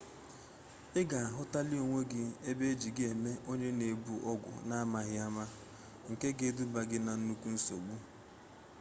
i ga-ahụtali onwe gị ebe e ji gị eme onye na-ebu ọgwụ n'amaghị ụma nke ga-edubali gị na nnukwu nsogbu